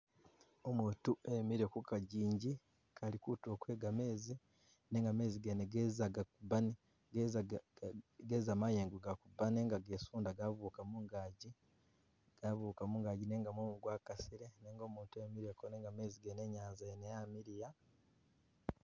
Umutu emile kuka'jinji kali kutuulo kwe gamezi, nenga meze gene geza gakubana geza ga..ga geza mayengo kuba nenga gesunda gabuka mungaji, gabuka mungaji nenga mumu kwa kasile nenga mutu emileko nenga mezi gene i'nyanza yene yamiliya